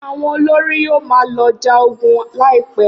Awọn olori yoo ma lọ ja ogun laipẹ.